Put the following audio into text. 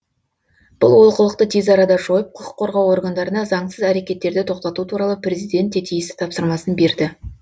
бұл олқылықты тез арада жойып құқық қорғау органдарына заңсыз әрекеттерді тоқтату туралы президент те тиісті тапсырмасын берді